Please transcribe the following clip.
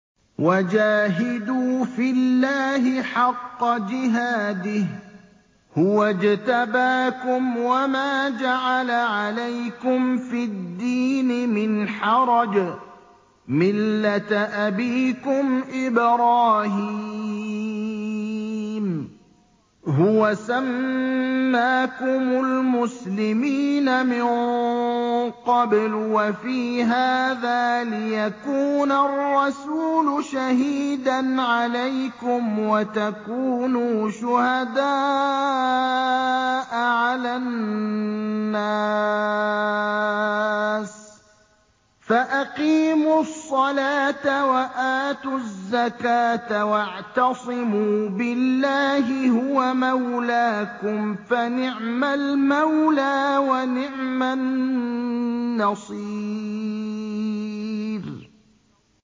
وَجَاهِدُوا فِي اللَّهِ حَقَّ جِهَادِهِ ۚ هُوَ اجْتَبَاكُمْ وَمَا جَعَلَ عَلَيْكُمْ فِي الدِّينِ مِنْ حَرَجٍ ۚ مِّلَّةَ أَبِيكُمْ إِبْرَاهِيمَ ۚ هُوَ سَمَّاكُمُ الْمُسْلِمِينَ مِن قَبْلُ وَفِي هَٰذَا لِيَكُونَ الرَّسُولُ شَهِيدًا عَلَيْكُمْ وَتَكُونُوا شُهَدَاءَ عَلَى النَّاسِ ۚ فَأَقِيمُوا الصَّلَاةَ وَآتُوا الزَّكَاةَ وَاعْتَصِمُوا بِاللَّهِ هُوَ مَوْلَاكُمْ ۖ فَنِعْمَ الْمَوْلَىٰ وَنِعْمَ النَّصِيرُ